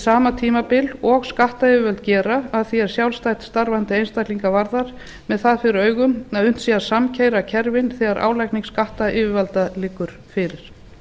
sama tímabil og skattyfirvöld gera að því er sjálfstætt starfandi einstaklinga varðar með það fyrir augum að unnt sé að samkeyra kerfin þegar álagning skattyfirvalda liggur fyrir